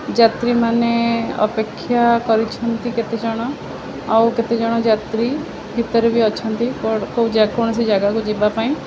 ଯାତ୍ରୀ ମାନେ ଅପେକ୍ଷା କରିଛନ୍ତି କେତେଜଣ ଆଉ କେତେଜଣ ଯାତ୍ରୀ ଭିତରେ ବି ଅଛନ୍ତି କଡ଼-କଉ-କୌଣସି ଜାଗା କୁ ଯିବା ପାଇଁ।